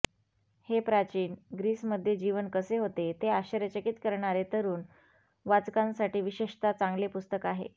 हे प्राचीन ग्रीसमध्ये जीवन कसे होते ते आश्चर्यचकित करणारे तरुण वाचकांसाठी विशेषतः चांगले पुस्तक आहे